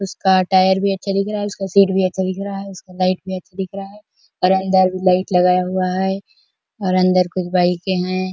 उसका टायर भी अच्छा दिख रहा है उसका शीट भी अच्छा दिख रहा हैउसका लाइट भी अच्छा दिख रहा है और अंदर लाइट भी लगा हुआ है और अंदर कुछ बाइके है।